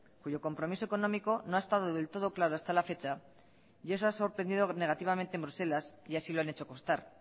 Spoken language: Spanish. cuyo compromiso económico no ha estado del todo claro hasta la fecha y eso ha sorprendido negativamente en bruselas y así lo han hecho constar